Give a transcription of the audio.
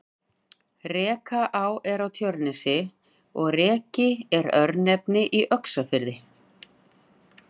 Rekaá er á Tjörnesi og Reki er örnefni í Öxarfirði.